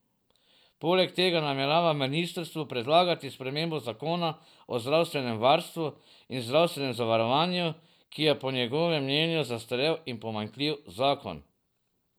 Poleg tega namerava ministrstvu predlagati spremembo zakona o zdravstvenem varstvu in zdravstvenem zavarovanju, ki je po njegovem mnenju zastarel in pomanjkljiv zakon.